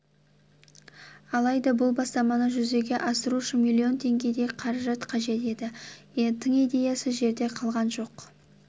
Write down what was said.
алайда бұл бастаманы жүзеге асыру үшін миллион теңгедей қаражат қажет еді тың идеясы жерде қалған жоқ